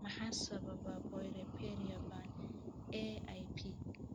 Maxaa sababa porphyria ba'an (AIP)?